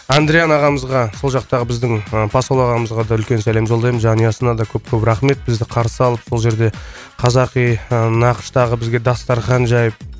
андриано ағамызға сол жақтағы біздің ы посол ағамызға да үлкен сәлем жолдаймын жанұясына да көп көп рахмет бізді қарсы алып сол жерде қазақи ы нақыштағы бізге дастархан жайып